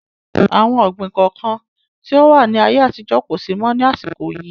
Àwọn ọ̀gbín kọ̀ọ̀kan tí ó wà ní ayé àtijọ́ kosi mọ ni àsìkò yìí